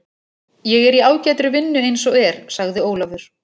Ég er í ágætri vinnu eins og er, sagði Ólafur.